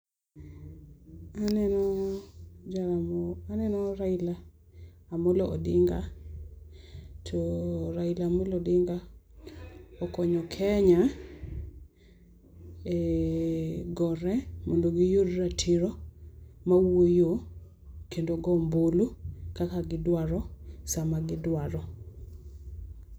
Aneno jal moro, aneno Raila Amollo Odinga to Raila Amollo Odinga okonyo Kenya e gore mondo gi yud ratiro ma wuoyo kendo go ombulu kaka gi dwaro sama gi dwaro.